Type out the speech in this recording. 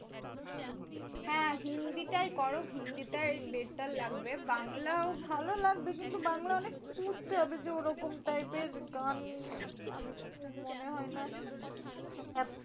হ্যাঁ হিন্দি টাই করো হিন্দি টাই better লাগবে। বাংলাও ভালো লাগবে। কিন্তু বাংলা অনেক খুঁজতে হবে। যে ওরকম type এর গান আমি তো মনে হয় না এত